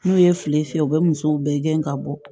N'u ye filen fiyɛ u bɛ musow bɛɛ gɛn ka bɔ